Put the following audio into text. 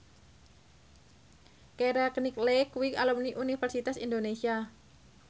Keira Knightley kuwi alumni Universitas Indonesia